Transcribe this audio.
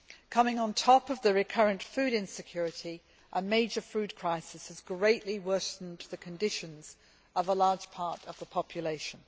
Coming on top of the recurrent food insecurity, a major food crisis has greatly worsened conditions for a large part of the population.